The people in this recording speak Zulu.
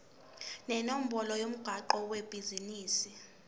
nenombolo yomgwaqo webhizinisi